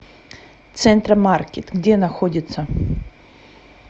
центра маркет где находится